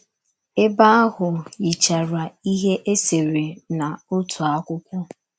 Ebe ahụ yichara ihe e sere n’otu akwụkwọ.